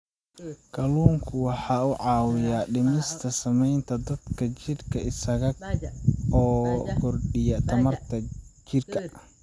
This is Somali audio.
Kalluunku waxa uu caawiyaa dhimista saamaynta daalka jidhka isaga oo kordhiya tamarta jidhka.